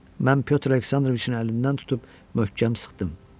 Mən Pyotr Aleksandroviçin əlindən tutub möhkəm sıxdım.